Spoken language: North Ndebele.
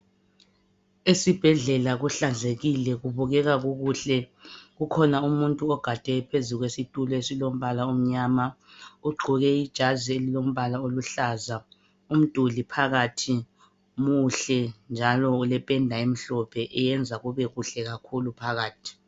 Esibhedlela kuhlanzekile kubukeka kukuhle ukhona umuntu ogade phezu kwesitulo esilombala omnyama ugqoke ijazi elilombala oluhlaza. Umduli phakathi muhle njalo ulependa emhlophe eyenza kube kuhle kakhulu phakathi.